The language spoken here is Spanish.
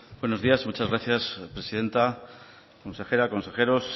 buenos días muchas gracias presidenta consejera consejeros